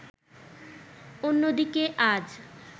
অন্যদিকে আজ